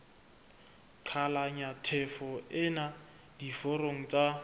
qhalanya tjhefo ena diforong tsa